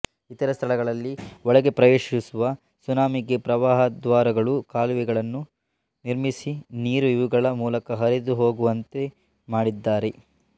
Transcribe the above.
ಇತರ ಸ್ಥಳಗಳಲ್ಲಿ ಒಳಗೆ ಪ್ರವೇಶಿಸುವ ಸುನಾಮಿಗೆ ಪ್ರವಾಹದ್ವಾರಗಳುಕಾಲುವೆಗಳನ್ನು ನಿರ್ಮಿಸಿನೀರು ಇವುಗಳ ಮೂಲಕ ಹರಿದು ಹೋಗುವಂತೆಮಾಡಿದ್ದಾರೆ